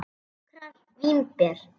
Nokkrar vínber